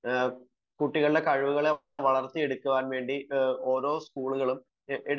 കുട്ടികളുടെ കഴിവുകൾ വർത്തിയെടുക്കാൻ വേണ്ടി ഓരോ സ്കൂളുകളും